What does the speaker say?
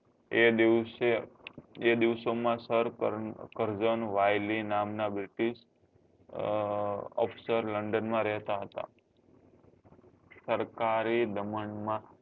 એ દિવસે એ દિવસો માં sir કર્જન વાઈલી નામના british અમ london માં રહેતા હતા સરકારી દમન માં